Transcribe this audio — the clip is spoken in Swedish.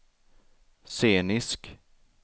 scenisk